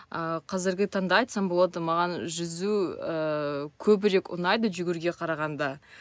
ы қазірге таңда айтсам болады маған жүзу ііі көбірек ұнайды жүгіруге қарағанда